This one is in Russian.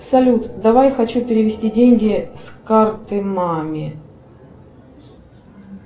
салют давай хочу перевести деньги с карты маме